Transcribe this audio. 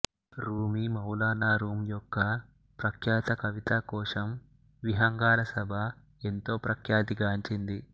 రూమి మౌలానా రూమ్ యొక్క ప్రఖ్యాత కవితాకోశం విహంగాల సభ ఎంతో ప్రఖ్యాతిగాంచింది